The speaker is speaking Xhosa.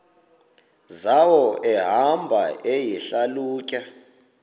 zawo ehamba eyihlalutya